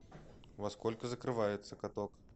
во сколько закрывается каток